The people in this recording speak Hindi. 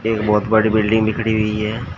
एक बहुत बड़ी बिल्डिंग भी खड़ी हुई है।